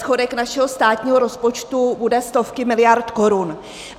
Schodek našeho státního rozpočtu bude stovky miliard korun.